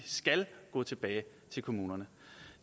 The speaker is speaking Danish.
skal gå tilbage til kommunerne